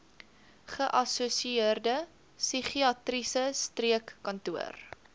geassosieerde psigiatriese streekkantoor